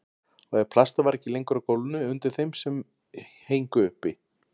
Og plastið var ekki lengur á gólfinu undir þeim sem héngu uppi.